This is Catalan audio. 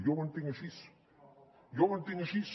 jo ho entenc així jo ho entenc així